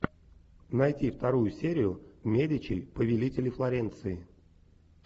найти вторую серию медичи повелители флоренции